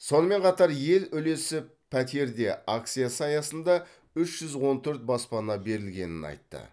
сонымен қатар ел үлесі пәтерде акциясы аясында үш жүз он төрт баспана берілгенін айтты